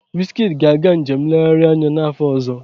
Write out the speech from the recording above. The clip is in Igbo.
Wizkid ga-aga njem nlegharị anya n'afọ ọzọ.